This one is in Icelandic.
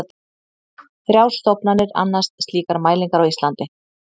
Þrjár stofnanir annast slíkar mælingar á Íslandi.